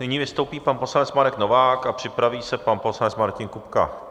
Nyní vystoupí pan poslanec Marek Novák a připraví se pan poslanec Martin Kupka.